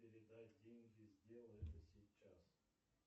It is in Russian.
передай деньги сделай это сейчас